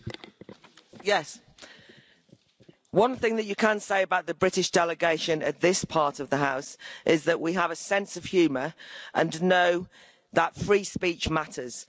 Mr President, one thing that you can say about the British delegation in this part of the House is that we have a sense of humour and know that free speech matters.